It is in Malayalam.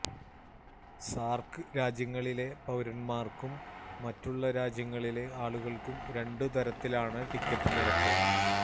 സാർക്ക് രാജ്യങ്ങളിലെ പൌരന്മാർക്കും മറ്റുള്ള രാജ്യങ്ങളിലെ ആളുകൾക്കും രണ്ട് തരത്തിലാണ് ടിക്കറ്റ് നിരക്ക്